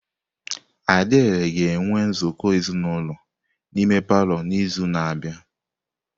Adiele ga-enwe nzukọ ezinulo n'ime palọ n'izu na-abịa.